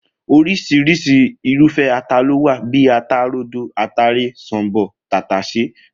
Oris̩irís̩i irúfé̩ ata ló wà bíi ata rodo, ataare, s̩ò̩m̀bò̩, tàtàsé